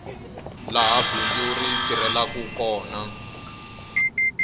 laha bindzu ri tirhelaku kona